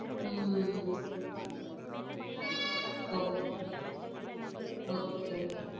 Um okay okay okay.